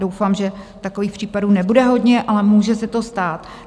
Doufám, že takových případů nebude hodně, ale může se to stát.